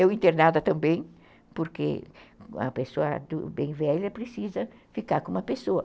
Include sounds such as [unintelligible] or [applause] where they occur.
Eu internada também, porque [unintelligible] uma pessoa bem velha precisa ficar com uma pessoa.